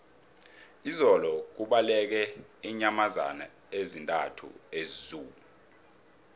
izolo kubaleke iinyamazana ezisithandathu ezoo